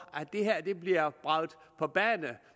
at det her bliver bragt på banen